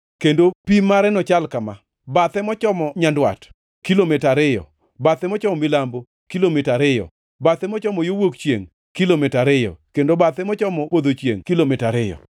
kendo pim mare nochal kama: Bathe mochomo nyandwat, kilomita ariyo, bathe mochomo milambo, kilomita ariyo, bathe mochomo wuok chiengʼ, kilomita ariyo, kendo bathe mochomo podho chiengʼ, kilomita ariyo.